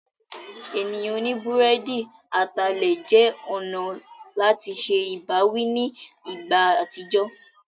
Ènìyàn oní búrẹ́dì atalẹ̀ jẹ́ ọ̀nà láti se ìbáwí ní ìgbà àtijọ́.